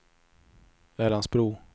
Älandsbro